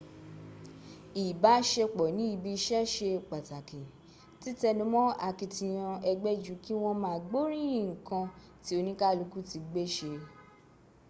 ìbáṣepsọ̀ ní ibi iṣẹ́ ṣe pàtàkì títẹnumọ́ àkitiyan ẹgbẹ́ ju kí wọ́n ma gboríyín ǹkan tí oníkálùkù ti gbé ṣe